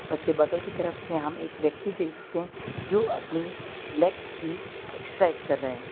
और उसके बगल की तरफ पे हम एक व्यक्ति देख सकते हैं जो अपनी लेग्स की एक्सरसाइज कर रहे हैं।